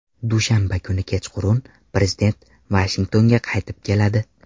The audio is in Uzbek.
Dushanba kuni kechqurun prezident Vashingtonga qaytib keladi.